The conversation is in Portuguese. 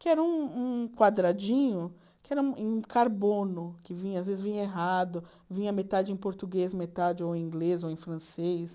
que era um um quadradinho, que era em carbono, que às vezes vinha errado, vinha metade em português, metade ou em inglês ou em francês.